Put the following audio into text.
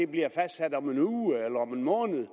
bliver fastsat om en uge eller om en måned